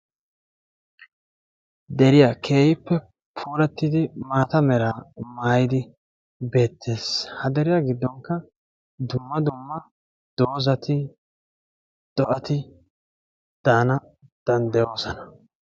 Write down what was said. Deriya, keehippe puulattidi maata mera mayidi bettees, ha deriyaa giddonkka dumma dumma dozati, do'ati daana danddayossona.